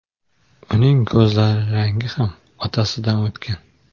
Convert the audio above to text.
Uning ko‘zlari rangi ham otasidan o‘tgan.